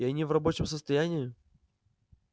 и они в рабочем состоянии